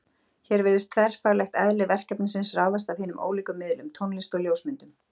Hér virðist þverfaglegt eðli verkefnisins ráðast af hinum ólíku miðlum: Tónlist og ljósmyndum.